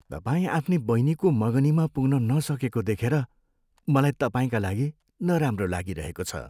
तपाईँ आफ्नी बहिनीको मगनीमा पुग्न नसकेको देखेर मलाई तपाईँका लागि नराम्रो लागिरहेको छ।